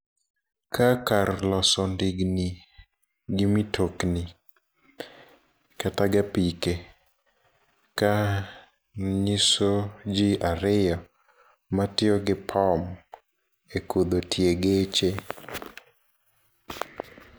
Ka kar loso ndigni, gi mitokni, kata gi apike. Ka nyiso ji ariyo matiyo gi pom e kudho tie geche.